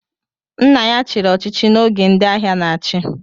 Nna ya chiri ọchịchị na oge ndị agha n'achi